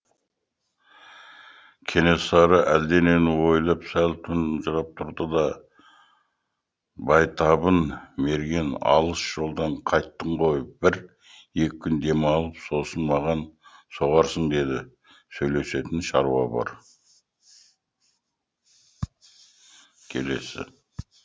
кенесары әлденені ойлап сәл тұнжырап тұрды да байтабын мерген алыс жолдан қайттың ғой бір екі күн демал сосын маған соғарсың деді сөйлесетін шаруа бар